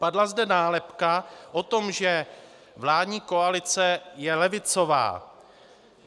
Padla zde nálepka o tom, že vládní koalice je levicová.